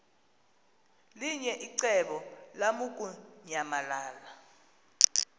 linye icebo lamukunyamalala